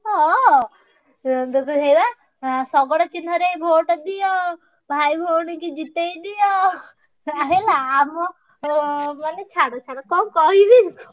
ହଁ ଶଗଡ ଚିହ୍ନ ରେ vote ଦିଅ ଭାଇଭଉଣୀ ଙ୍କି ଜିତେଇଦିଅ ହେଲା ଆମ ବୋଲି ଛାଡ କଣ କହିବି।